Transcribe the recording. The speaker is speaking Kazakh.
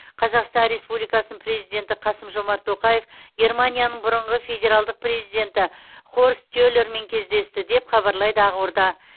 қазақстан республикасының президенті қасым жомарт тоқаев германияның бұрынғы федералдық президенті хорст келермен кездесті деп хабарлайды ақорда